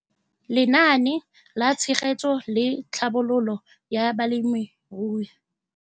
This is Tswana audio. Lenaane la Tshegetso le Tlhabololo ya Balemirui.